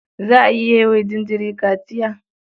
Za a iya yi wa jinjiri kaciya?